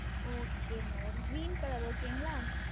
Okay MadamGreen ColorOkay ங்களா